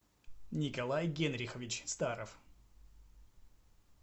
николай генрихович старов